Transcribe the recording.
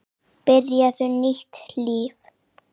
Byrjaði nýtt líf.